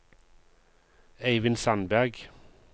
Eivind Sandberg